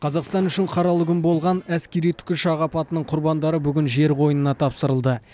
қазақстан үшін қаралы күн болған әскери тікұшақ апатының құрбандары бүгін жер қойнына тапсырылды